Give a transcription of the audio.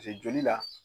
joli la